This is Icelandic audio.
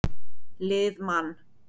Lið Man.